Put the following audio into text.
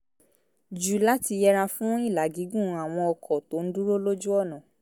jù láti yẹra fún ìlà gígùn àwọn ọkọ̀ tó ń dúró lójú ọ̀nà